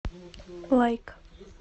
лайк